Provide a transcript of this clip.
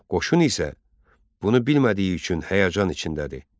Qoşun isə bunu bilmədiyi üçün həyəcan içindədir.